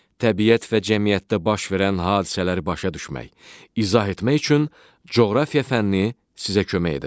Təbiət və cəmiyyətdə baş verən hadisələri başa düşmək, izah etmək üçün coğrafiya fənni sizə kömək edəcək.